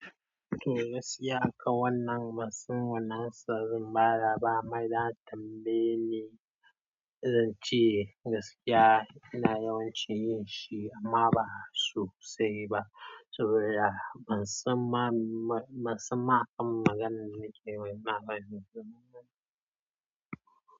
To, gaskiya akan wannan bansan, ansa zan bada ba amma idan aka tambaye ne, zan ce gaskiya ina yawanci yin shi amma ba so sai ba. To ya, ban san ma, ban san ma akan maganar me nake yi ba, maganar.